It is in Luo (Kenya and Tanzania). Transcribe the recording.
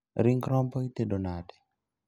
Ring' rombo itedo nade?